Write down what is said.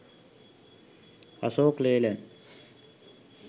ashok leland